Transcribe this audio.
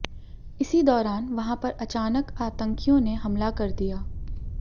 इसी दौरान वहां पर अचानक आतंकियों ने हमला कर दिया